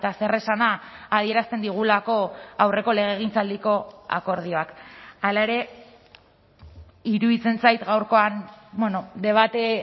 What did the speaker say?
zer esana adierazten digulako aurreko legegintzaldiko akordioak hala ere iruditzen zait gaurkoan debate